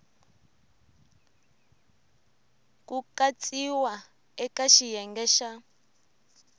ku katsiwa eka xiyenge xa